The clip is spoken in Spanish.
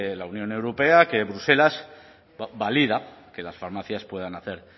la unión europea que bruselas valida que las farmacias puedan hacer